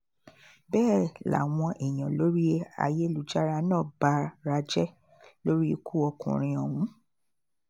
bẹ́ẹ̀ làwọn èèyàn lórí ayélujára náà bara jẹ́ lórí ikú ọkùnrin ọ̀hún